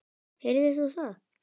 Heyrðir þú það?